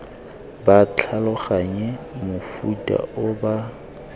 ba tlhaloganye mofuta o ba